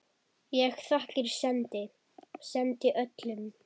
Ég þakkir sendi, sendi öllum.